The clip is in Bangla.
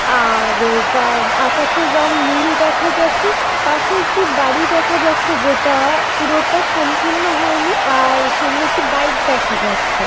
আ-আ-র গা আকাশের রং নীল দেখা যাচ্ছে। পাশে একটি বাড়ি দেখা যাচ্ছে। যেটা-আ পুরোটা সম্পূর্ণ হয়নি। আর সামনে একটি বাইক দেখা যাচ্ছে।